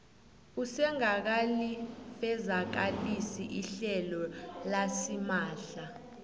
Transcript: usengakalifezakalisi ihlelo lasimahla